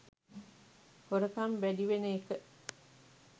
හොරකම් වැඩි වෙන එක